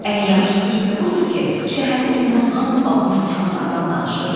Ən yaxşısı isə budur ki, şəhərdə indi hamı batmış uşaqlardan danışır.